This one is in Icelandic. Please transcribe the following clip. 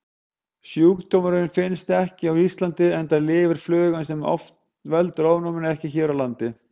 Sjúkdómurinn finnst ekki á Íslandi enda lifir flugan sem veldur ofnæminu ekki hér á landi.